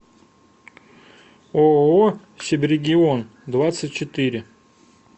ооо сибрегион двадцать четыре